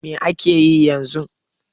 Mai ake yi yanzu?